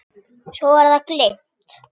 Svo var það gleymt.